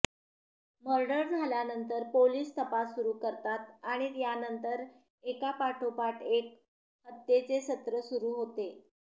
murder झाल्यानंतर police तपास सुरु करतात आणि यानंतर एकापाठोपाठ एक हत्येचे सत्र सुरु होते